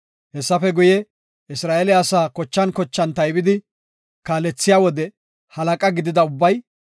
Hessafe guye, Isra7eele asaa kochan kochan taybidi kaalethiya wode halaqa gidida ubbay,